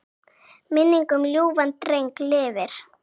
Minning um ljúfan dreng lifir.